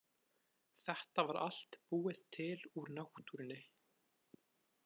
Þetta var allt búið til úr náttúrunni.